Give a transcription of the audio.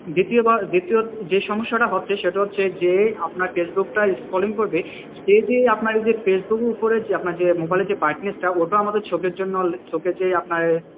দ্বিতীয় দ্বিতীয় যে সমস্যাটা হচ্ছে সেটা হচ্ছে যে আপনার ফেসবুকটা scrolling করবে সে যে ফেসবুকের ওপরে মোবাইলে যে brightness টা ওটাও আমাদের চোখের জন্য চোখে যে আপনার,